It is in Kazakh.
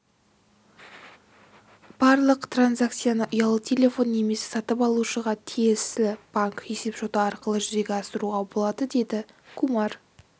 барлық транзакцияны ұялы телефон немесе сатып алушыға тиесілі банк есепшоты арқылы жүзеге асыруға болады деді кумар